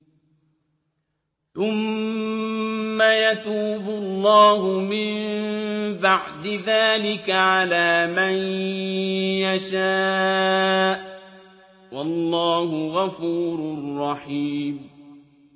ثُمَّ يَتُوبُ اللَّهُ مِن بَعْدِ ذَٰلِكَ عَلَىٰ مَن يَشَاءُ ۗ وَاللَّهُ غَفُورٌ رَّحِيمٌ